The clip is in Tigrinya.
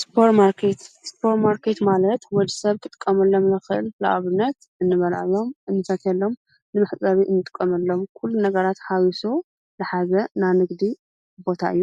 ስፖርማርኬት ስፖር ማርኬት ማለት ወዲ ሰብ ክጥቀመሎም ዝክእል ንኣብነት እንበልዐሎም , እንሰትየሎም ንመሕፀቢ እንጥቀመሎም ኩሉ ነገራት ሓውሳም ዝሓዘ ናይ ንግዲ ቦታ እዩ።